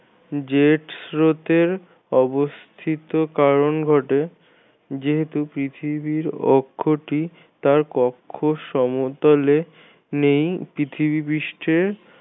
jet স্রোতের অবস্থিত কারণ ঘটে যেহেতু পৃথিবীর অক্ষটি তার কক্ষ সমতলে নেই পৃথিবী পৃষ্ঠের